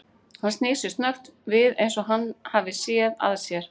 Hann snýr sér snöggt við eins og hann hafi séð að sér.